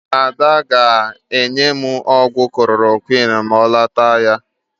Ada ga-enye m ọgwụ klorokwịn ma ọ lota ahịa.